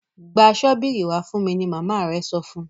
gbà Ṣọ́bìrì wá fún mí! ní mama rẹ sọfún.